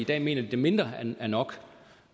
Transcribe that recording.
dag mener de at mindre er nok